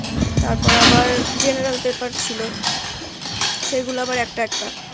তারপর আবার general paper ছিল সেগুলো আবার একটা একটা